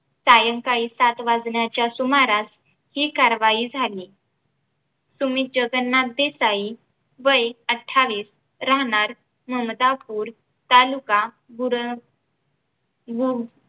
सायंकाळी सात वाजण्याच्या सुमारास हि कारवाही झाली सुमित जगन्नाथ देसाई वय अठावीस राहणार ममदापुर तालुका बुरन गु